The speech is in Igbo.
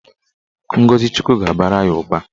Ngọzi Chukwu ga-abara ya ụba.